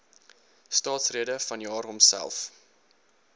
staatsrede vanjaar homself